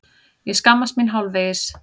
Ég skammast mín hálfvegis.